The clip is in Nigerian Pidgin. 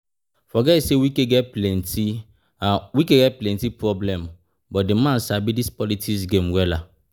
Forget say Wike get plenty problem but the man sabi dis politics game wella